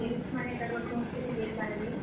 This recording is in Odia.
ସବୁ ladies ମାନେ ତାଙ୍କର ଘର୍ କେ ବି ଯାଇ ପାର୍ ବେ।